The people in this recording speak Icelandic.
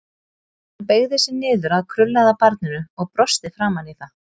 Hann beygði sig niður að krullaða barninu og brosti framan í það.